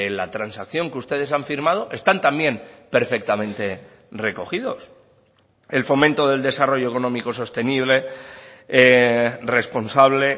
la transacción que ustedes han firmado están también perfectamente recogidos el fomento del desarrollo económico sostenible responsable